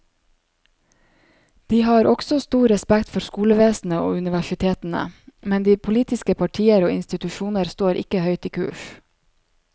De har også stor respekt for skolevesenet og universitetene, men de politiske partier og institusjoner ikke står høyt i kurs.